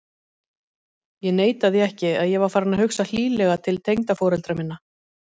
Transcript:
Ég neita því ekki að ég var farinn að hugsa hlýlega til tengdaforeldra minna.